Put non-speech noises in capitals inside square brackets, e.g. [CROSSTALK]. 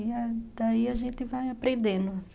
E daí [UNINTELLIGIBLE] a gente vai aprendendo.